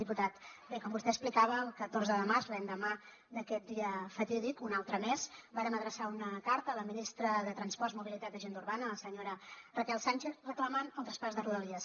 diputat bé com vostè explicava el catorze de març l’endemà d’aquest dia fatídic un altre més vàrem adreçar una carta a la ministra de transports mobilitat i agenda urbana la senyora raquel sánchez reclamant el traspàs de rodalies